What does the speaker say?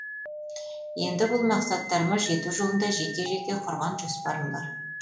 енді бұл мақсаттарыма жету жолында жеке жеке құрған жоспарым бар